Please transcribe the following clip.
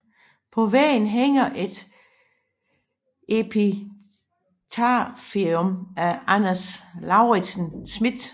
På væggen hænger et epitafium af Anders Lauritzen Smith